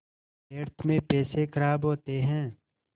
व्यर्थ में पैसे ख़राब होते हैं